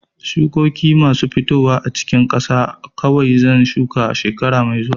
Shukokin masu fitowa a cikin ƙasa kawai zan shuka shekara mai zuwa.